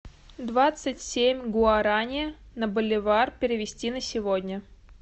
двадцать семь гуарани на боливар перевести на сегодня